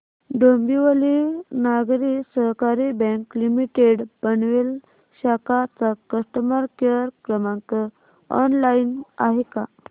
Dombivli Nagari Sahakari bank limited Panvel शाखा चा customer care क्रमांक ऑनलाइन आहे का